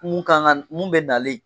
Mun kan ka mun bɛ nale